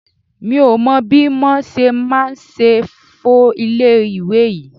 Mi ò mọ bí mo ṣe máa ṣe fọ ilé ìwẹ̀ yí.